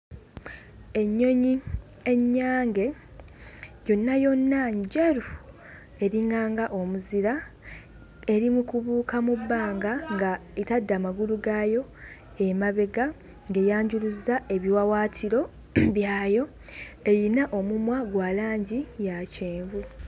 Ennyonyi ennyange yonna yonna njeru eringanga omuzira eri mu kubuuka mu bbanga nga etadde amagulu gaayo emabega ng'eyanjuluzza ebiwawaatiro mm byayo eyina omumwa gwa langi ya kyenvu.